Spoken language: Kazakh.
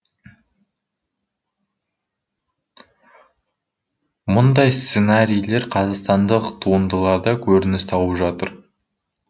мұндай сценарийлер қазақстандық туындыларда көрініс тауып жатыр